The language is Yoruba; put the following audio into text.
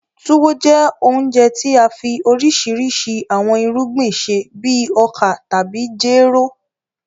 Tuwo jẹ́ ounjẹ tí a fi oríṣiríṣi awọn irugbin ṣe bíi oka tàbí jéró.